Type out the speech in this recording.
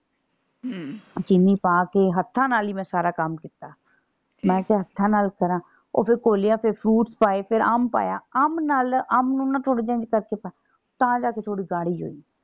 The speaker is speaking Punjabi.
ਹਮ ਚੀਨੀ ਪਾ ਕੇ ਹੱਥਾਂ ਨਾਲ ਹੀ ਮੈਂ ਸਾਰਾ ਕੰਮ ਕੀਤਾ। ਮੈਂ ਕਿਹਾ ਹੱਥਾਂ ਨਾਲ ਕਰਾਂ। ਉਹ ਫੇਰ ਘੋਲਿਆ ਫੇਰ fruits ਪਾਏ ਫੇਰ ਅੰਬ ਪਾਇਆ। ਅੰਬ ਨਾਲ ਅੰਬ ਨੂੰ ਨਾ ਥੋੜਾ ਜੇਹਾ ਇੰਝ ਕਰਕੇ ਪਾਇਆ। ਤਾਂ ਜਾ ਕੇ ਥੋੜੀ ਗਾੜੀ ਹੋਈ।